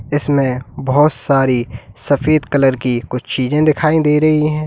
इसमें बहुत सारी सफेद कलर की कुछ चीजें दिखाई दे रही है।